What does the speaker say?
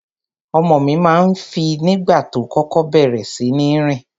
Ọmọ mi ma ń fì nígbà tó kókó bẹ̀rẹ̀ síní rìn.